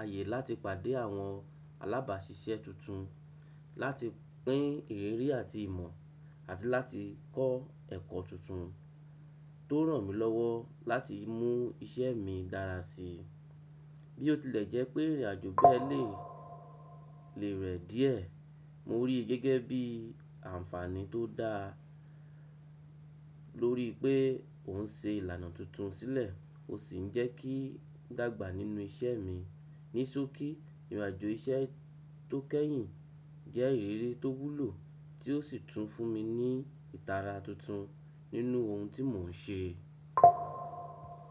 àyè láti pàdé àwọn alábàáṣiṣẹ́ tuntun, láti pín ìrírí àti ìmọ̀, àti láti kọ́ ẹ̀kọ́ tuntun tó ràn mí lọ́wọ́ láti mú iṣẹ́ mi dára sí i. Bí ó tilẹ̀ jẹ́ pé ìrìnàjò bẹ́e lẹ̀ lè rẹ díẹ̀, mo rí i gẹ́gẹ́ bí àǹfààní tó dáa lórí pé ò ń ṣe ìlànà tuntun sílẹ̀ ó sì ń jẹ́ kí n dàgbà nínú isẹ́ mi. Ní ìsọ̀kí, ìrìnàjò iṣẹ́ tó kẹ́yìn jẹ́ ìrírí tó wúlò tí ó sì tún fún mi ní ìtara tuntun nínú ohun tí mò ń ṣe.